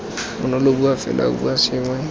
bonolo bua fela bua sengwe